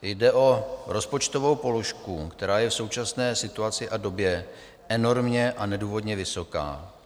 Jde o rozpočtovou položku, která je v současné situaci a době enormně a nedůvodně vysoká.